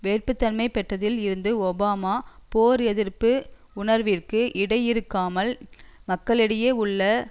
வேட்புத்தன்மை பெற்றதில் இருந்து ஒபாமா போர் எதிர்ப்பு உணர்விற்கு விடையிறுக்காமல் மக்களிடையே உள்ள